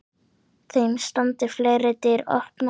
Þeim standi fleiri dyr opnar.